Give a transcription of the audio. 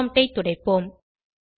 prompt ஐ துடைப்போம்